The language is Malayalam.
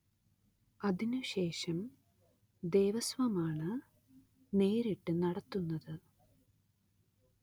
അതിനുശേഷം ദേവസ്വമാണ്‌ നേരിട്ട് നടത്തുന്നത്.